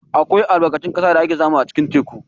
Akwai albarkatun ƙasa da ake samu a cikin teku.